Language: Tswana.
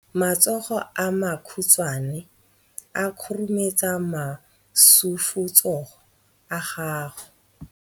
Matsogo a makhutshwane a khurumetsa masufutsogo a gago.